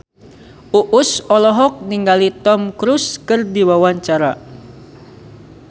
Uus olohok ningali Tom Cruise keur diwawancara